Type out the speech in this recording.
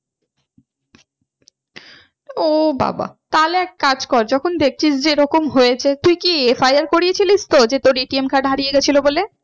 ও বাবা তাহলে এক কাজ কর যখন দেখছিস যে এরকম হয়েছে তুই কি FIR করেছিলি তো? যে তোর ATM card হারিয়ে গিয়েছিলো বলে?